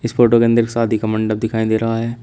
इस फोटो के अंदर एक शादी का मंडप दिखाई दे रहा है।